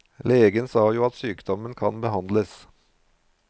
Legen sa jo at sykdommen kan behandles.